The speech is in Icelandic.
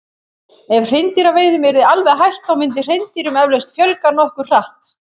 Ef hreindýraveiðum yrði alveg hætt þá myndi hreindýrum eflaust fjölga nokkuð hratt.